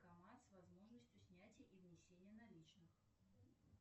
с возможностью снятия и внесения наличных